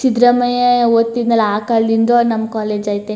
ಸಿದ್ದರಾಮಯ್ಯ ಓದ್ತಿದ್ನಲ್ಲ ಆ ಕಾಲದಿಂದ ನಮ್ಮ್ ಕಾಲೇಜ್ ಐತೆ.